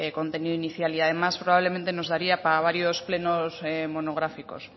contenido inicial y además probablemente nos daría para varios plenos monográficos